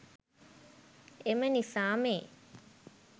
එම නිසා මේ